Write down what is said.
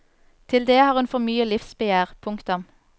Til det har hun for mye livsbegjær. punktum